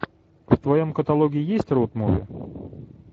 в твоем каталоге есть роуд муви